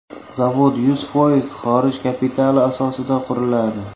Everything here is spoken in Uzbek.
Zavod yuz foiz xorij kapitali asosida quriladi.